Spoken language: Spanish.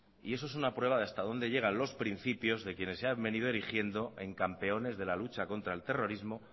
y eso es una prueba de hasta dónde llegan los principios de quienes se han venido erigiendo en campeones de la lucha contra el terrorismo